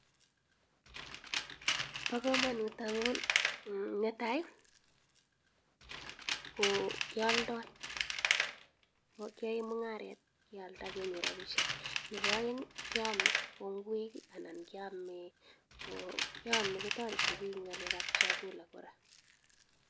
Bo komonut anyun netai ko kealdoi kiae mungaret kealda kenyor rabisiek nebo aeng keome kou ngwek anan keome kotoreti biiik ing ngalekab chakula